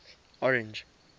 orange